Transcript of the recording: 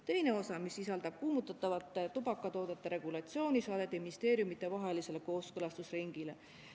Teine osa, mis sisaldab kuumutatavate tubakatoodete regulatsiooni, saadeti ministeeriumitevahelisele kooskõlastusringile.